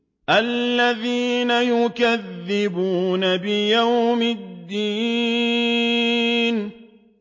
الَّذِينَ يُكَذِّبُونَ بِيَوْمِ الدِّينِ